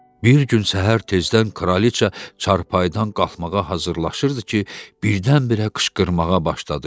Bir gün səhər tezdən kraliça çarpayıdan qalxmağa hazırlaşırdı ki, birdən-birə qışqırmağa başladı.